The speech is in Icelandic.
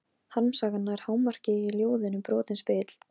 Harmsagan nær hámarki í ljóðinu Brotinn spegill.